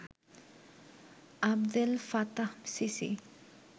Abdel Fattah CC